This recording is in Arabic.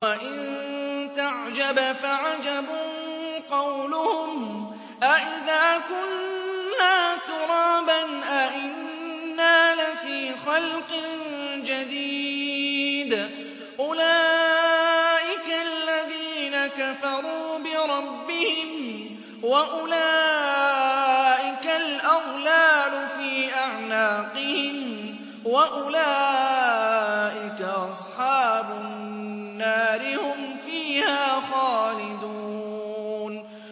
۞ وَإِن تَعْجَبْ فَعَجَبٌ قَوْلُهُمْ أَإِذَا كُنَّا تُرَابًا أَإِنَّا لَفِي خَلْقٍ جَدِيدٍ ۗ أُولَٰئِكَ الَّذِينَ كَفَرُوا بِرَبِّهِمْ ۖ وَأُولَٰئِكَ الْأَغْلَالُ فِي أَعْنَاقِهِمْ ۖ وَأُولَٰئِكَ أَصْحَابُ النَّارِ ۖ هُمْ فِيهَا خَالِدُونَ